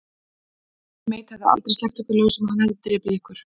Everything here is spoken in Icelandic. Johnny Mate hefði aldrei sleppt ykkur lausum, hann hefði drepið ykkur.